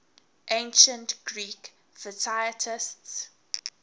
ancient greek physicists